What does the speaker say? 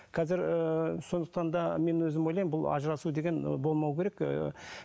қазір ыыы сондықтан да мен өзім ойлаймын бұл ажырасу деген болмау керек ыыы